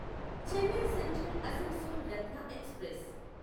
Chennai central Asansol Ratna express